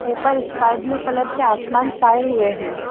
ऊपर sky blue colour के आसमान छाये हुए हैं।